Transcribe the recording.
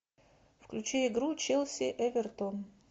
включи игру челси эвертон